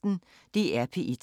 DR P1